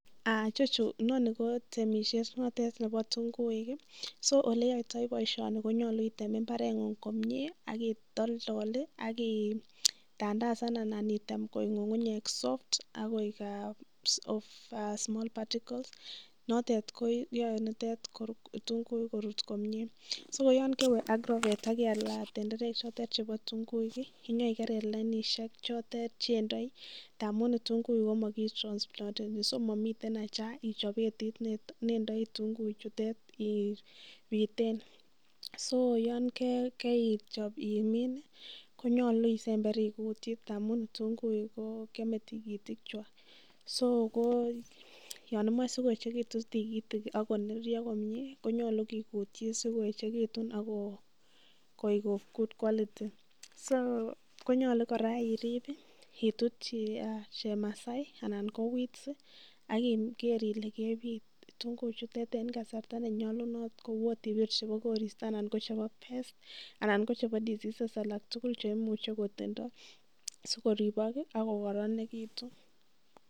Ichechu inonii ko temishet notet nebo kitung'uik, so oleyoitoi boishoni bo ktung'uik konyolu item imbareng'ung komnye ak itoldol ak itandandasan anan item konyo ng'ung'unyek soft ak koik of small particles [c], notet koyoe nitet kitun'guik korut komie, so ko yoon kewee ak rokoet ak ialate tenderek chotet chebo kitung'uik inyo ikerer lainishek chotet chendoi ndamun kitung'uik komo kitronsplonteni so momiten acha ichob betit nendoi kitunguichutet ibiten, so yoon keichob imin konyolu isember ikutyi ndamun kitunguik ko kiome tikitikwak, so ko yoon imoche sikoyechekitun tikitik ak koneryo komnye konyolu kikutyi sikoyechekitun ak ko koik of good quality, so konyolu kora iriib itutyi chemasai anan ko [s] weeds ak keer ilee kebit tukuchutet en kasarta nenyolunot kouu chebo koristo anan ko chebo pest anan ko cheebo diseases alak tukul cheimuche kotindo sikoribok ak kokoronekitu.